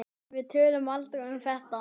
Við töluðum aldrei um þetta.